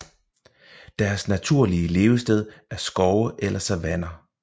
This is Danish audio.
Deres naturlige levested er skove eller savanner